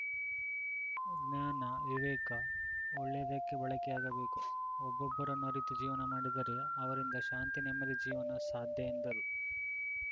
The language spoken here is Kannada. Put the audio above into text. ಜ್ಞಾನ ವಿವೇಕ ಒಳ್ಳೆಯದಕ್ಕೆ ಬಳಕೆಯಾಗಬೇಕು ಒಬ್ಬೊಬ್ಬರನ್ನು ಅರಿತು ಜೀವನ ಮಾಡಿದರೆ ಅವರಿಂದ ಶಾಂತಿ ನೆಮ್ಮದಿ ಜೀವನ ಸಾಧ್ಯ ಎಂದರು